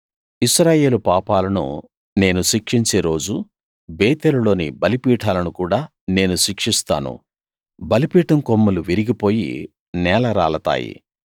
ఇశ్రాయేలు పాపాలను నేను శిక్షించే రోజు బేతేలులోని బలిపీఠాలను కూడా నేను శిక్షిస్తాను బలిపీఠం కొమ్ములు విరిగిపోయి నేలరాలతాయి